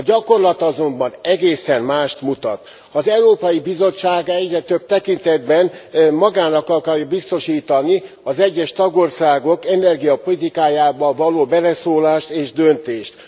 A gyakorlat azonban egészen mást mutat az Európai Bizottság egyre több tekintetben magának akarja biztosítani az egyes tagországok energiapolitikájába való beleszólást és döntést.